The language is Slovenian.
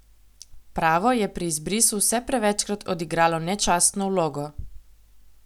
Pravo je pri izbrisu vse prevečkrat odigralo nečastno vlogo.